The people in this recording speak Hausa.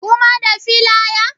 Kuma da filaya?